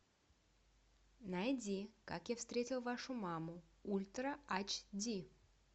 найди как я встретил вашу маму ультра айч ди